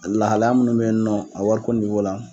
A lahalaya minnu be yen nɔ a wari niwo la